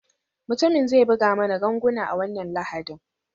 Mutumin zai buga mana ganguna a wannan Lahadin.